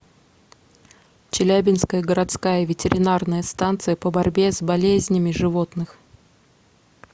челябинская городская ветеринарная станция по борьбе с болезнями животных